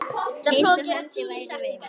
Eins og hendi væri veifað.